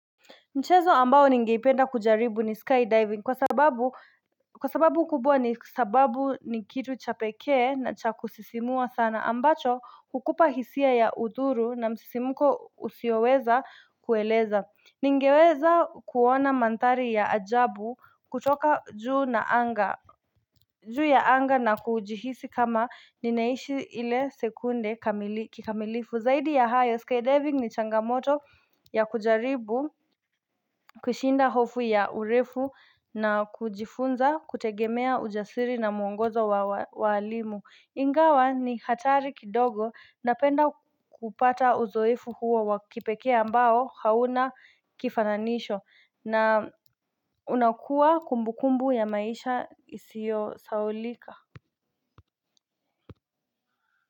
Mchezo ambao ningeipenda kujaribu ni skydiving kwa sababu kwa sababu kubwa ni sababu nikitu chapekee na cha kusisimua sana ambacho kukupa hisia ya udhuru na msisimuko usioweza kueleza Ningeweza kuona manthari ya ajabu kutoka juu na anga juu ya anga na kujihisi kama ninaishi ile sekunde kikamilifu zaidi ya hayo skydiving ni changamoto ya kujaribu kushinda hofu ya urefu na kujifunza kutegemea ujasiri na muongozo wa walimu Ingawa ni hatari kidogo napenda kupata uzoefu huo wakipekee ambao hauna kifananisho na unakua kumbu kumbu ya maisha isio sahaulika.